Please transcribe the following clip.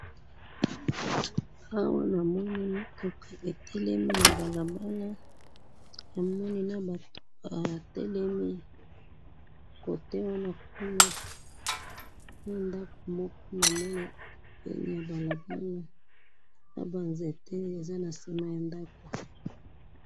awa na moni mituka e'telemi na balabala na moni na batu ba telemi kote wana kuna na ndaku moko na moni pembeni ya balabala na ba zente eza sima ya ndaku